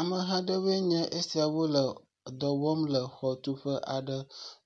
Ameha aɖewoe nye esiawo le dɔ wɔm le xɔtuƒe aɖe,